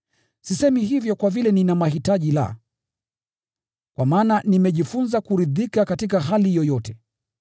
Sisemi hivyo kwa vile nina mahitaji, la! Kwa maana nimejifunza kuridhika katika hali yoyote.